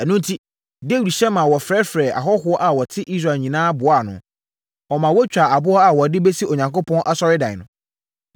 Ɛno enti, Dawid hyɛ ma wɔfrɛfrɛɛ ahɔhoɔ a wɔte Israel nyinaa boaa ano. Ɔmaa wɔtwaa aboɔ a wɔde bɛsi Onyankopɔn Asɔredan no.